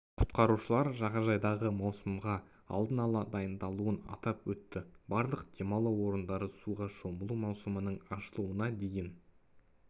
құтқарушылар жағажайдағы маусымға алдын ала дайындалуын атап өтті барлық демалу орындары суға шомылу маусымының ашылуына дейін